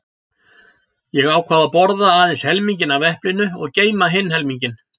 Ég ákvað að borða aðeins helminginn af eplinu og geyma hinn helminginn.